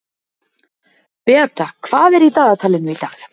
Beata, hvað er í dagatalinu í dag?